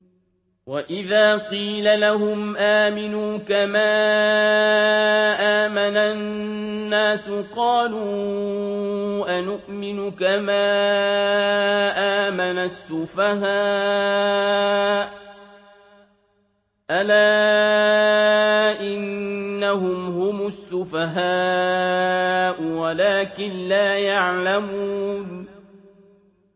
وَإِذَا قِيلَ لَهُمْ آمِنُوا كَمَا آمَنَ النَّاسُ قَالُوا أَنُؤْمِنُ كَمَا آمَنَ السُّفَهَاءُ ۗ أَلَا إِنَّهُمْ هُمُ السُّفَهَاءُ وَلَٰكِن لَّا يَعْلَمُونَ